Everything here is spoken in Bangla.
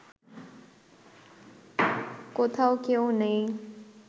কোথাও কেউ নেই